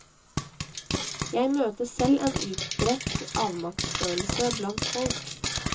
Jeg møter selv en utbredt avmaktsfølelse blant folk.